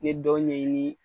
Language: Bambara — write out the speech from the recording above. N ye dɔw ɲɛɲini